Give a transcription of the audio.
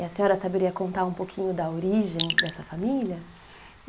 E a senhora saberia contar um pouquinho da origem dessa família?